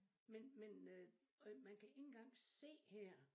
Men men øh og man kan ikke engang se her